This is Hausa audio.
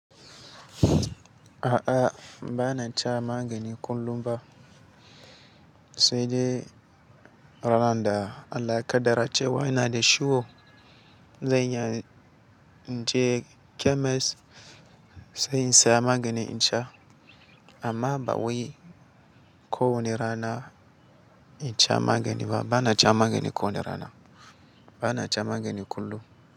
A'a, ba na ca magani kullum ba, sai dai ran da Allah ya ƙaddara cewa ina da ciwo, zan iya in je kemes sai in saya magani in sha. Amma ba wai ko wani rana in sha magani ba, ba na ca magani kowane rana, ba na ca magani kullum.